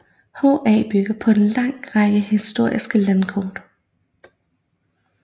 HA bygger på en lang række historiske landkort